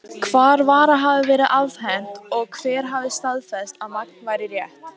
Hvar vara hafi verið afhent, og hver hafi staðfest, að magn væri rétt?